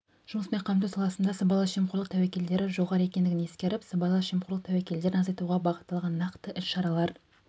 жұмыспен қамту саласында сыбайлас жемқорлық тәуекелдері жоғары екендігін ескеріп сыбайлас жемқорлық тәуекелдерін азайтуға бағытталған нақты іс-шаралар